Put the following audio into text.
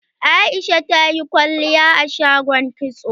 Aisha tayi kwalliya a shagon kitso.